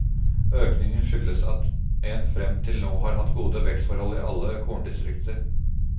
Økningen skyldes at en frem til nå har hatt gode vekstforhold i alle korndistrikter.